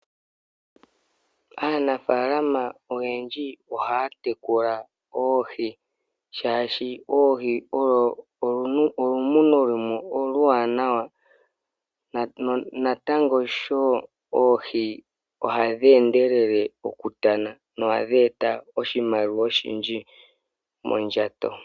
Aanafaalama oyendji ohaya tekula oohi, shaashi oohi oyo olumuno lumwe oluwanawa. Oohi ohadhi endelele okutana no hadhi eta oshimaliwa oshindji mondjato.